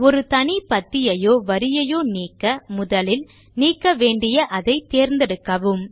ஒரு தனி பத்தியையோ வரியையோ நீக்க முதலில் நீக்க வேண்டிய அதை தேர்ந்தெடுக்கவும்